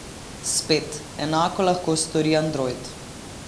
Spet, enako lahko stori android.